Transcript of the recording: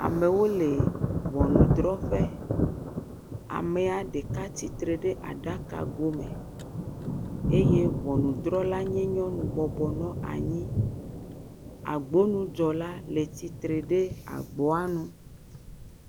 Amewo le ŋunudrɔƒe, amea ɖeka tsitre ɖe aɖaka go me eye ŋunudrɔla nye nyɔnu bɔbɔnɔ anyi. Agbonudzɔla le tsitre ɖe agboa nu.